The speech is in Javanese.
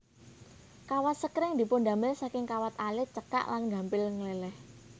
Kawat sekring dipundamel saking kawat alit cekak lan gampil ngleleh